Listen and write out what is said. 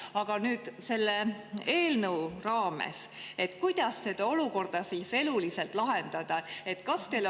Aga kuidas nüüd selle eelnõu raames saaks seda olukorda eluliselt lahendada?